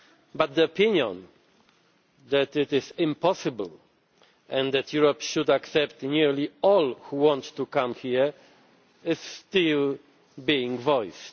But the opinion that it is impossible and that Europe should accept nearly all who want to come here is still being voiced.